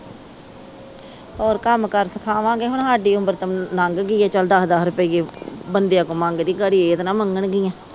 ਹੋਰ ਕੰਮ ਕਾਰ ਸਿਖਾਵਾਂਗੇ ਕੇ ਹੁਣ ਸਾਡੀ ਉਮਰ ਤਾ ਲੰਗ ਗਈ ਆ ਚਲ ਦਸ ਦਸ ਰੁਪਈਏ ਬੰਦਿਆ ਕੋ ਮੰਗਦੇ ਗਾੜੀ ਇਹ ਤਾ ਨਾ ਮੰਗਣ ਗੀਆ।